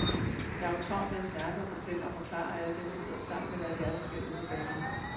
Jeg har jo travlt med at snakke og fortælle og forklare alle dem, jeg sidder sammen med, hvad det er, der sker ude på banen.